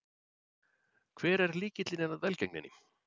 Hver er lykilinn að velgengninni?